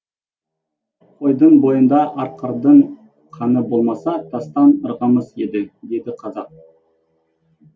қойдың бойында арқардың қаны болмаса тастан ырғымас еді дейді қазақ